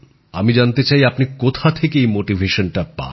আমি জানতে চাই আপনি কোথা থেকে এই অনুপ্রেরণা পান